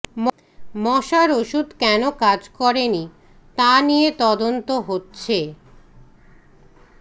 মশার ওষুধ কেন কাজ করেনি তা নিয়ে তদন্ত হচ্ছে